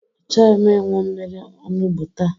Achọghị m ịnwụ mmiri onugbu taa